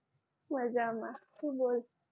મજામાં તું બોલ